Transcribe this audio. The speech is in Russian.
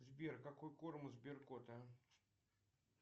сбер какой корм у сберкота